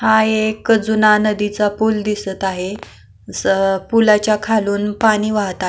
हा एक जुना नदीचा पूल दिसत आहे असं पुलाच्या खालून पाणी वाहत आहे.